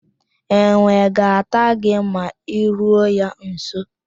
Enwe ga-ata gị ma I ruo ya nso.